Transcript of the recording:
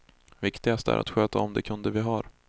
Viktigast är att sköta om de kunder vi har.